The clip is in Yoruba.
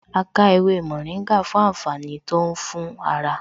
A ká ewé mòríngà fún àǹfààní tó ń fún ara